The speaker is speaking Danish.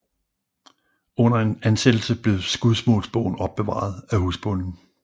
Under en ansættelse blev skudsmålsbogen opbevaret af husbonden